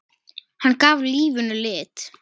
Hann gaf lífinu lit.